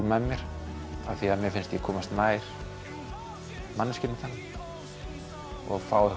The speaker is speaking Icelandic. með mér af því að mér finnst ég komast nær manneskjunni þannig og fá